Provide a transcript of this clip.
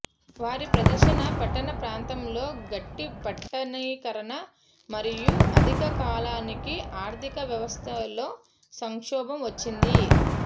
వారి ప్రదర్శన పట్టణ ప్రాంతాల్లో గట్టి పట్టణీకరణ మరియు అధిక కాలానికి ఆర్ధిక వ్యవస్థలో సంక్షోభం వచ్చింది